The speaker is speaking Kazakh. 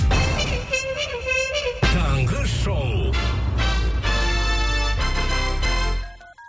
таңғы шоу